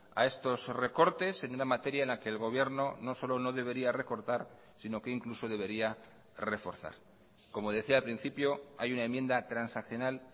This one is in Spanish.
a estos recortes en una materia en la que el gobierno no solo no debería recortar sino que incluso debería reforzar como decía al principio hay una enmienda transaccional